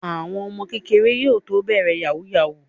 Àwọn ọmọ kéékèèké yóò tó bẹ̀rẹ̀ Yahoo yahoo